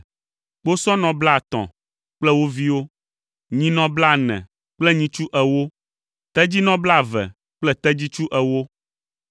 kposɔnɔ blaetɔ̃ kple wo viwo, nyinɔ blaene kple nyitsu ewo, tedzinɔ blaeve kple tedzitsu ewo.